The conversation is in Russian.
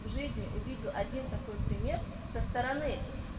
в жизни увидел один такой пример со стороны